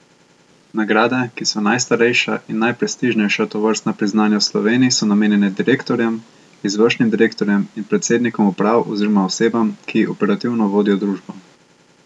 Nagrade, ki so najstarejša in najprestižnejša tovrstna priznanja v Sloveniji, so namenjene direktorjem, izvršnim direktorjem in predsednikom uprav oziroma osebam, ki operativno vodijo družbo.